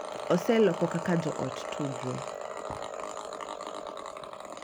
Oseloko kaka joot tudruok,